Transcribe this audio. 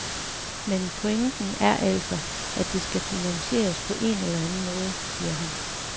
Men pointen er altså, at det skal finansieres på en eller anden måde, siger han.